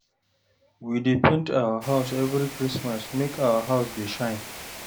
We dey paint our house every Christmas make our house dey shine